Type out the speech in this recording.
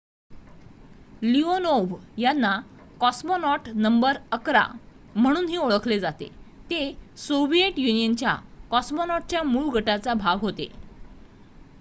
Leonov यांना ''cosmonaut number ११'' म्हणूनही ओळखले जाते ते सोव्हिएट युनियनच्या कॉस्मॉनॉटच्या मूळ गटाचा भाग होते